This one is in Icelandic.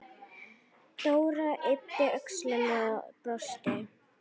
Dóra yppti öxlum og brosti.